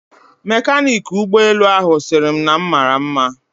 Mekaniki ụgbọelu ahụ sịrị m na m mara nma